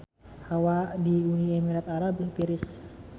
Hawa di Uni Emirat Arab tiris